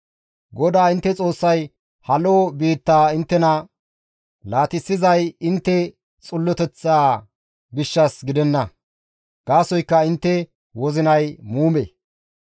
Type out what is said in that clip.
GODAA intte Xoossay ha lo7o biittaa inttena laatissizay intte xilloteththaa gishshas gidenna; gaasoykka intte wozinay muume.